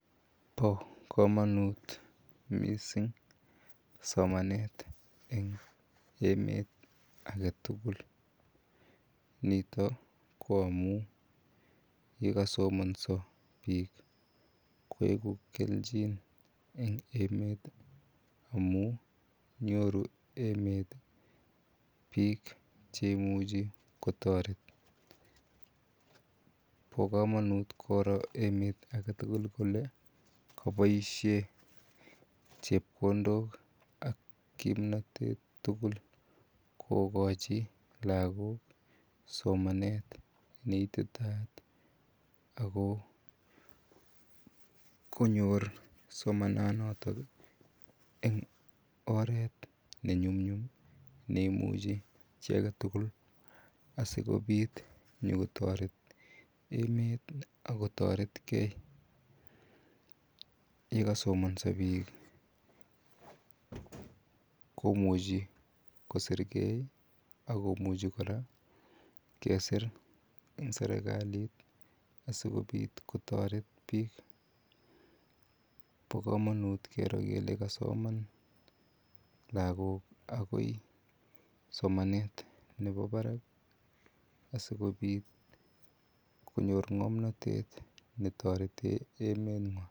Bokomonut mising somanet eng emet aketukul nito ko amun yekosomonso biik koibu kelchin en emet amun nyoru emet biik cheimuchi kotoret, bokomonut koro emet aketukul kolee oboishen chepkondok ak kipnotet tukul kokochi lokok somanet neititaat ak ko konyor somananotok eng oreet ne nyumnyum ne imuchi chii aketukul asikobit nyokotoret emet ak kotoretke yekosomonso biik komuchi kosirkei ak komuchi kora kesir en serikalit asikobit kotoret biik, bokomonut kero kelee kasoman lokok akoi somanet nebo barak asikobit konyor ngomnotet netoreten emengwan.